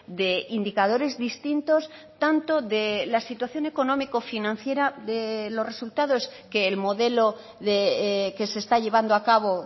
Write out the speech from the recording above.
de indicadores distintos tanto de la situación económico financiera de los resultados que el modelo que se está llevando a cabo